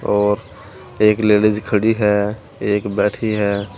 और एक लेडिस खड़ी है एक बैठी है।